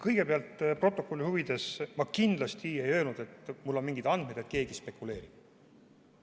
Kõigepealt, protokolli huvides: ma kindlasti ei öelnud, et mul on mingeid andmeid, et keegi spekuleerib.